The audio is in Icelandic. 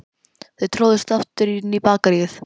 Þau tróðust öll aftur inn í Bakaríið.